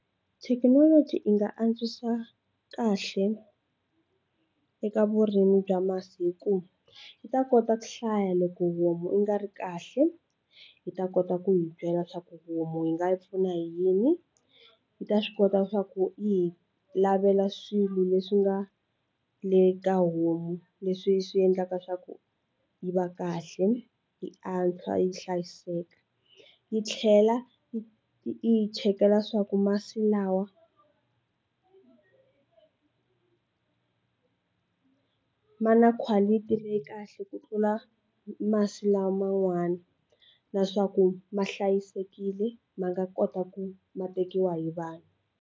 Thekinoloji yi nga antswisa kahle eka vurimi bya masiku yi ta kota ku hlaya loko homu yi nga ri kahle yi ta kota ku hi byela swaku homu yi nga yi pfuna hi yini, yi ta swi kota swa ku yi lavela swilo leswi nga le ka homu leswi swi endlaka swa ku yi va kahle hi antswa yi hlayiseka yi tlhela yi hi chekela swa ku masi lawa ma na quality leyi kahle ku tlula masi lama n'wana na swa ku ma hlayisekile ma nga kota ku ma tekiwa hi vanhu.